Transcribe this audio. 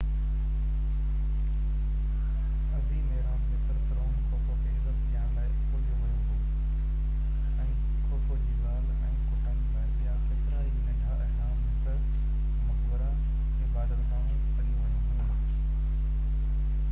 عظيم اهرام مصر فرعون خوفو کي عزت ڏيڻ لاءِ اڏيو ويو هو ۽ خوفو جي زال ۽ ڪٽنب لاءِ ٻيا ڪيترائي ننڍا اهرام مصر مقبرا عبادت گاهون اڏيون ويون هيون